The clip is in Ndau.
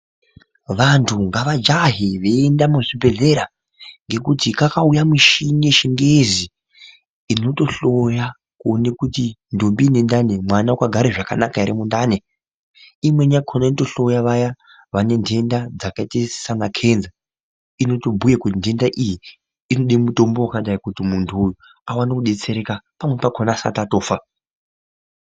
Vanthu ngavajahe veienda muzvibhedhlera ngekuti kakauya michini yechingezi inotohloya kuona kuti ndombi ine ndani mwana wakagara zvakanaka ere mundani imweni yakhona inotohloya vayana vane ntenda dzakaita saana kenza inotobhuya kuti ntenda iyi inoda mutombo wakadai kuti munthu aone kudetsereka pamweni pakhona asati atofa.